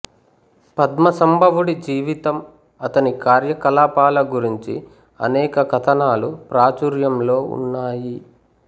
పద్మసంభవుడి జీవితం అతని కార్యకలాపాల గురించి అనేక కథనాలు ప్రాచూర్యంలో ఉన్నాయి